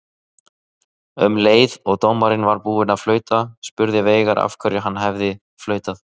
Um leið og dómarinn var búinn að flauta spurði Veigar af hverju hann hefði flautað.